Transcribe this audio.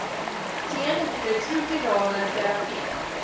teen retrovirale terapie